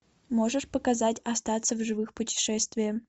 можешь показать остаться в живых путешествие